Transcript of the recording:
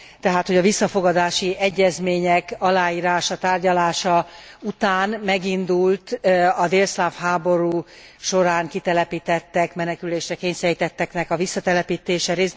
Tehát, hogy a visszafogadási egyezmények aláírása, tárgyalása után megindult a délszláv háború során kitelepítettek, menekülésre kényszerítettek visszatelepítése.